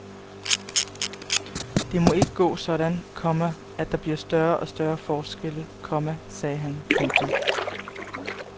Det må ikke gå sådan, komma at der bliver større og større forskelle, komma sagde han. punktum